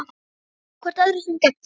Takið ekki hvort öðru sem gefnu